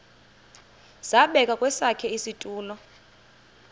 zabekwa kwesakhe isitulo